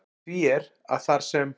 Því er, að þar sem